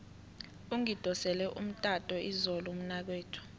ungidosele umtato izolo umnakwethu